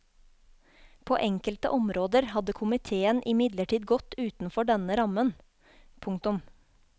På enkelte områder hadde komiteen imidlertid gått utenfor denne rammen. punktum